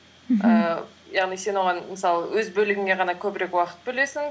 мхм ііі яғни сен оған мысалы өз бөлігіне ғана көбірек уақыт бөлесің